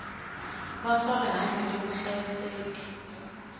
va swa rihanyu ni vuhlayiseki